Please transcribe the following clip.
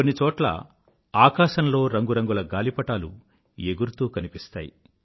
కొన్ని చోట్ల ఆకాశంలో రంగు రంగుల గాలిపటాలు ఎగురుతూ కనిపిస్తాయి